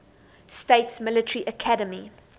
states military academy